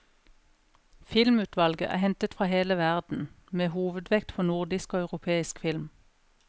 Filmutvalget er hentet fra hele verden, med hovedvekt på nordisk og europeisk film.